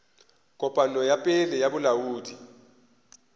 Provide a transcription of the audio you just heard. kopano ya pele ya bolaodi